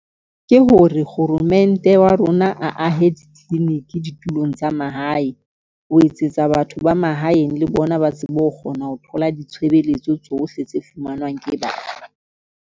Ke hore kgoromente wa rona a ahe di-clinic ditulong tsa mahae, ho etsetsa batho ba mahaeng le bona ba tsebe ho kgona ho thola ditshebeletso tsohle tse fumanwang ke batho.